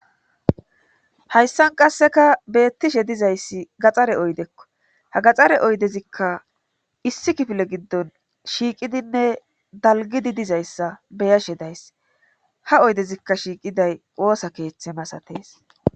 Hayssan qasseka beettishe dizayssi gaxxare oydekko ha gaxxare oydezikka issi kifile giddon shiiqidinne dalgidi dizayssa beyashe days ha oydezikka shiiqiday qoosa keeththe masatees.